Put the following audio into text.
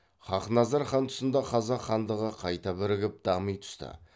хақназар хан тұсында қазақ хандығы қайта бірігіп дами түсті